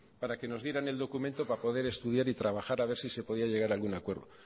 para que nos dieran el documento para poder estudiar y trabajar a ver si se podía llegar algún acuerdo